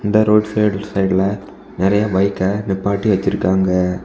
இந்த road side சைடுல நிறைய பைக்க நிப்பாட்டி வச்சிருக்காங்க.